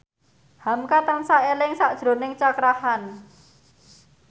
hamka tansah eling sakjroning Cakra Khan